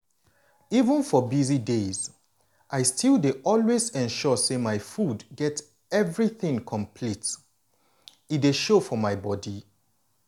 even for busy days i still dey always ensure say my food get everything complete. e dey show for body.